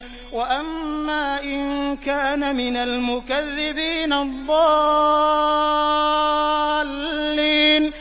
وَأَمَّا إِن كَانَ مِنَ الْمُكَذِّبِينَ الضَّالِّينَ